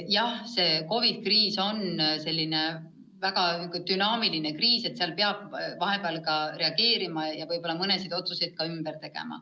Jah, see COVID-i kriis on selline väga dünaamiline kriis, mille puhul peab teinekord kiiresti reageerima ja võib-olla mõnesid otsuseid ka ümber tegema.